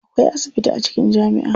Akwai asibiti a cikin jami'a.